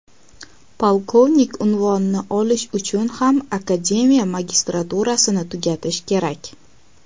Polkovnik unvonini olish uchun ham akademiya magistraturasini tugatish kerak.